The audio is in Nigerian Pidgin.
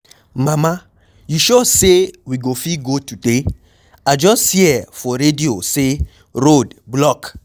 Mama you sure say we go fit go today? I just hear for radio say road block.